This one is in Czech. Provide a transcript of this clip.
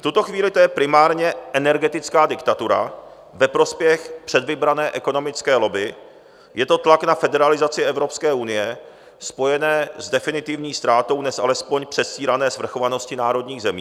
V tuto chvíli to je primárně energetická diktatura ve prospěch předvybrané ekonomické lobby, je to tlak na federalizaci Evropské unie spojené s definitivní ztrátou dnes alespoň předstírané svrchovanosti národních zemí.